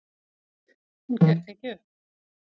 Hún gekk ekki upp.